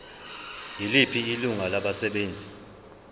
yiliphi ilungu labasebenzi